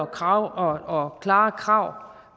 krav og klare krav